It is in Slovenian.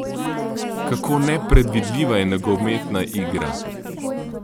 Kako nepredvidljiva je nogometna igra!